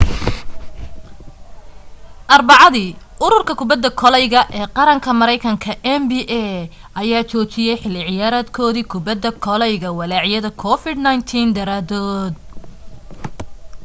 arbacadii ururka kubadda koleyga ee qaranka maraynkanka nba ayaa joojiyay xilli ciyaareedkoodii kubadda koleyga walaacyada covid-19 daraadood